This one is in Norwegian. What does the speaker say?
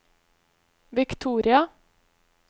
Victoria